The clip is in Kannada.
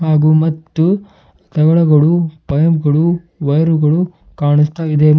ಹಾಗು ಮತ್ತು ತಗಡುಗಳು ಪೈಪ್ ಗಳು ವಯರುಗಳು ಕಾಣಿಸ್ತಾ ಇವೆ ಮತ್--